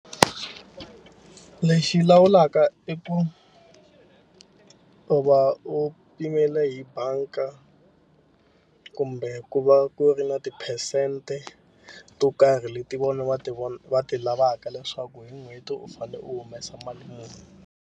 Lexi lawulaka i ku u va u pimele hi banka kumbe ku va ku ri na tiphesente to karhi leti vona va ti va ti lavaka leswaku hi n'hweti u fanele u humesa mali muni.